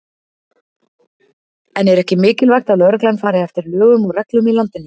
En er ekki mikilvægt að lögreglan fari eftir lögum og reglum í landinu?